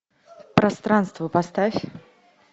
пространство поставь